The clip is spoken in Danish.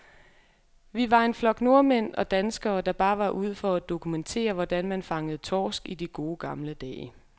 Vi var en flok nordmænd og danskere, der bare var ude for at dokumentere, hvordan man fangede torsk i de gode, gamle dage.